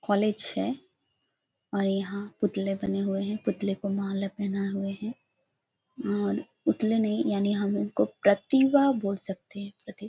college है और यहाँ पुतले बने हुए हैं पुतले को माला पहनाए हुए हैं और पुतले नहीं यानी हम उनको प्रतिभा बोल सकते हैं प्रति --